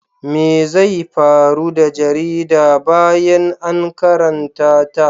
Me zai faru da jarida bayan an karanta ta?